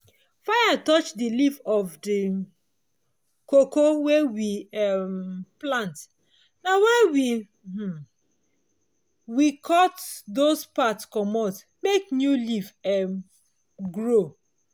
fire touch the leaf of the cocoa wey we um plant na why um we cut those part commot make new leaf um grow.